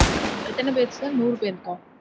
எத்தன பேர் sir? நூறு பேர்க்கா?